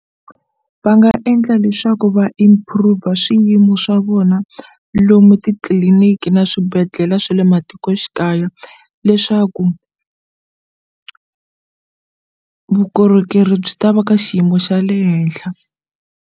Va nga endla leswaku va improver swiyimo swa vona lomu titliliniki na swibedhlele swa le matikoxikaya leswaku vukorhokeri byi ta va ka xiyimo xa le henhla.